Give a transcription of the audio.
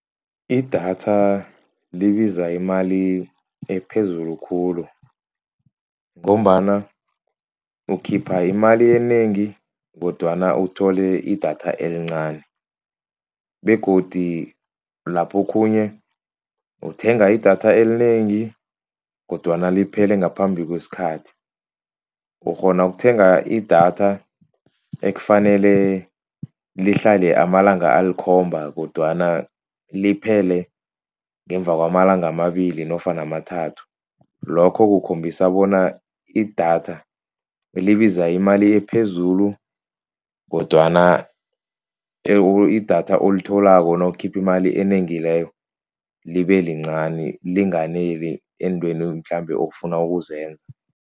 Idatha libiza imali ephezulu khulu. Ngombana ukhipha imali enengi kodwana uthole idatha elincani, begodu lapho okhunye uthenga idatha elinengi kodwana liphele ngaphambi kwesikhathi. Ukghona ukuthenga idatha ekufanele lihlale amalanga alikhomba kodwana liphele ngemva kwamalanga amabili nofana amathathu. Lokho kukhombisa bona idatha libiza imali ephezulu kodwana idatha olitholako nawukhipha imali enengi leyo libe lincani linganeli eentweni mhlambe ofuna ukuzenza.